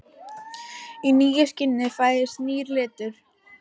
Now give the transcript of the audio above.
Í nýju skini fæðist nýr litur.